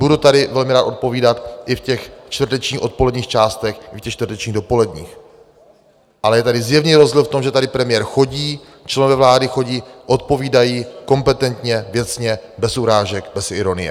Budu tady velmi rád odpovídat i v těch čtvrtečních odpoledních částech i v těch čtvrtečních dopoledních, ale je tady zjevný rozdíl v tom, že tady premiér chodí, členové vlády chodí, odpovídají kompetentně, věcně, bez urážek, bez ironie.